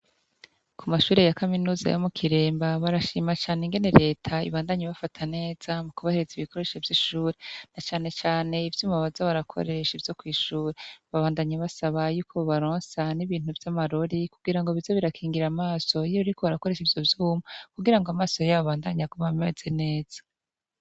Ku mashure ya kaminuza yo mu Kiremba barashima cane ingene reta ibandanya ibafata neza mu kubahereza ibikoresho vy'ishure na canecane ivyuma baza barakoresha vyo kw'ishure, babandanya basaba yuko bobaronsa n'ibintu vy'amarori kugira ngo bize birakingira amaso iyo bariko barakoresha ivyo vyuma kugira ngo amaso yabo abandanye aguma ameze neza.